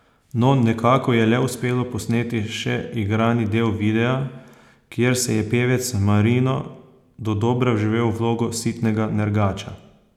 No, nekako je le uspelo posneti še igrani del videa, kjer se je pevec Marino dodobra vživel v vlogo sitnega nergača.